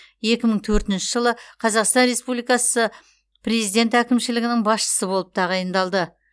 екі мың төртінші жылы қазақстан республикасы президент әкімшілігінің басшысы болып тағайындалды